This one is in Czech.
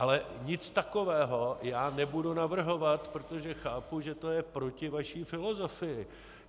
Ale nic takového já nebudu navrhovat, protože chápu, že to je proti vaší filozofii.